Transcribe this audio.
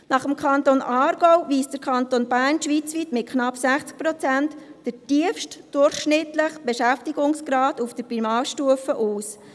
Nach dem Kanton Aargau weist der Kanton Bern schweizweit mit knapp 60 Prozent den tiefsten durchschnittlichen Beschäftigungsgrad auf der Primarstufe auf.